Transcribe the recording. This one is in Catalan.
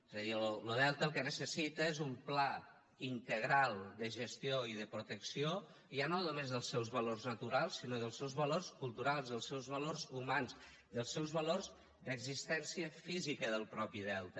és a dir lo delta el que necessita és un pla integral de gestió i de protecció ja no només dels seus valors naturals sinó dels seus valors culturals dels seus valors humans dels seus valors d’existència física del mateix delta